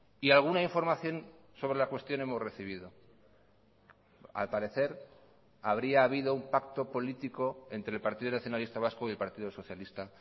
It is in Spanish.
y alguna información sobre la cuestión hemos recibido al parecer habría habido un pacto político entre el partido nacionalista vasco y el partido socialista